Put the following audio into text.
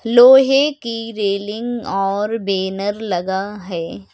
लोहे की रेलिंग और बैनर लगा है।